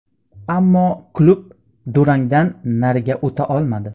Ammo klub durangdan nariga o‘ta olmadi.